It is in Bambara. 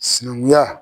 Sinankunya